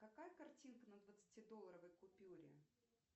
какая картинка на двадцатидолларовой купюре